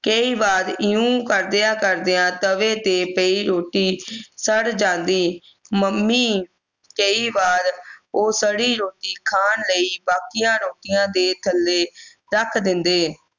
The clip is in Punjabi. ਕਈ ਵਾਰ ਇਵੇਂ ਕਰਦੇ ਕਰਦੇ ਤਵੇ ਤੇ ਪਈ ਰੋਟੀ ਸੜ ਜਾਂਦੀ ਮੰਮੀ ਕਈ ਵਾਰ ਉਹ ਸੜੀ ਰੋਟੀ ਖਾਣ ਲਈ ਬਾਕੀਆਂ ਰੋਟੀਆਂ ਦੇ ਥੱਲੇ ਰੱਖ ਦੇਂਦੇ